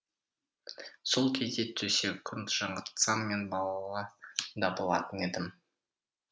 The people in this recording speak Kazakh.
сол кезде төсек жаңғыртсам мен балалы да болатын едім